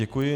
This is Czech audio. Děkuji.